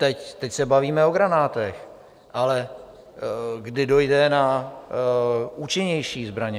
Teď se bavíme o granátech, ale kdy dojde na účinnější zbraně?